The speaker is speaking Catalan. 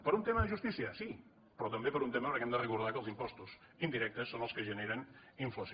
per un tema de justícia sí però també per un tema perquè hem de recordar que els impostos indirectes són els que generen inflació